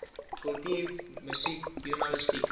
kultuur musiek joernalistiek